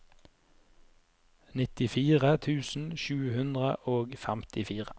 nittifire tusen sju hundre og femtifire